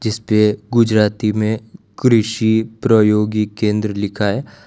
इसपे गुजराती में कृषि प्रयोगी केंद्र लिखा है।